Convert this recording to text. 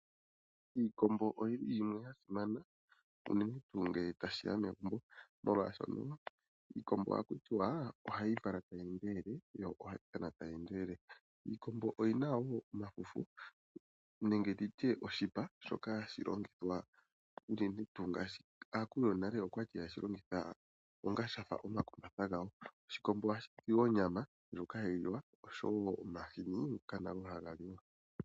Iikombo oyi ya simana unene tuu ngele tashiya megumbo molwaashoka iikombo ohaku kutiwa o ohayi vala tayi endelele yo ohayi tana tayi endelele. Iikombo oyina woo omafufu nenge omishipa shoka hashi longithwa unene tuu ngaashi aakulu yonale okwali hayeshi longitha onga shafa omakumbatha gawo. Oshikombo ohashizi woo onyama ndjoka hayi liwa oshowo omahini ngoka nago hagaliwa.